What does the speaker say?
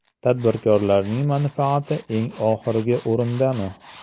Tadbirkorning manfaati eng oxirgi o‘rindami?